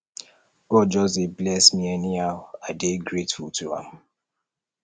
god just dey bless me anyhow i dey grateful to am